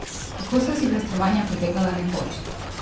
Kako so silvestrovanja potekala nekoč?